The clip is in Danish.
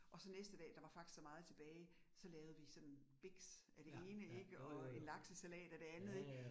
Og så næste dag der var faktisk så meget tilbage, så lavede vi sådan biks af det ene ik, og en laksesalat af det andet ik